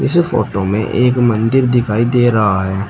इस फोटो में एक मंदिर दिखाई दे रहा है।